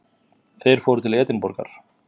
Þeir fóru til Edinborgar.